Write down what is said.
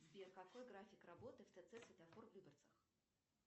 сбер какой график работы в тц светофор в люберцах